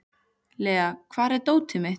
Lea, hvar er dótið mitt?